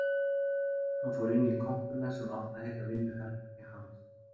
Hann fór inn í kompuna sem átti að heita vinnuherbergi hans